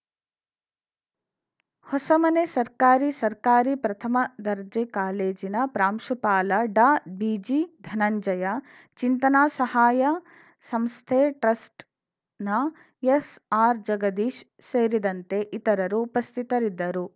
ಹೊಸಮನೆ ಸರ್ಕಾರಿ ಸರ್ಕಾರಿ ಪ್ರಥಮ ದರ್ಜೆ ಕಾಲೇಜಿನ ಪ್ರಾಂಶುಪಾಲ ಡಾ ಬಿಜಿ ಧನಂಜಯ ಚಿಂತನಾ ಸಹಾಯ ಸಂಸ್ಥೆ ಟ್ರಸ್ಟ್‌ನ ಎಸ್‌ಆರ್‌ ಜಗದೀಶ್‌ ಸೇರಿದಂತೆ ಇತರರು ಉಪಸ್ಥಿತರಿದ್ದರು